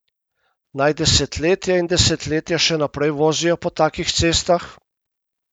Naj desetletja in desetletja še naprej vozijo po takih cestah?